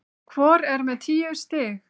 Hvor er með tíu stig